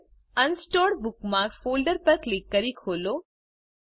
આગળ unsorted bookmarks folder પર click કરી ખોલો